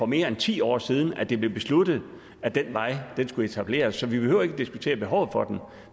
mere end ti år siden det blev besluttet at den vej skulle etableres så vi behøver ikke at diskutere behovet for den